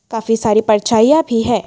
काफी सारी परछाइयां भी है।